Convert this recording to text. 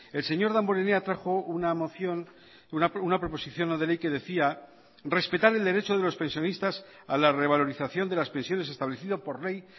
el señor damborenea trajo una moción una proposición no de ley que decía respetar el derecho de los pensionistas a la revalorización de las pensiones establecido por ley